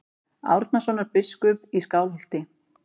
Árnasonar biskups í Skálholti.